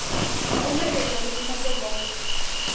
na u ṋekekza ḽikumedzwa zwavhuḓi